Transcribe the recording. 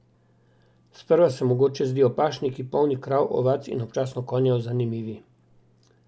Sprva se mogoče zdijo pašniki, polni krav, ovac in občasno konjev, zanimivi.